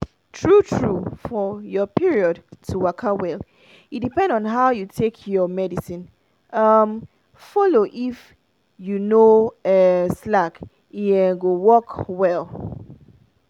true-true for your period to waka well e depend on how you take your medicine um follow if you no um slack e um go work well.